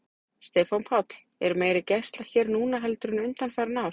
Stefán Páll: Er meiri gæsla hér núna heldur en undanfarin ár?